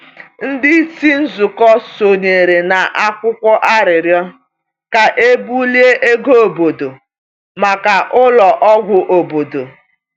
Ndị isi nzụkọ sonyere na akwụkwọ arịrịọ ka e bulie ego obodo maka ụlọ ọgwụ obodo.